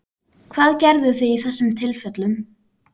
Hvað gerðuð þið í þessum tilfellum?